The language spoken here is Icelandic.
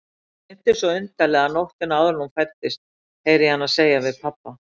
Mig dreymdi svo undarlega nóttina áður en hún fæddist, heyri ég hana segja við pabba.